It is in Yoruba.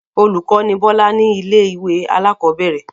Olùkọ́ ni Bọ́lá ní ilé-ìwé alákọ̀ọ́bẹ̀rẹ̀.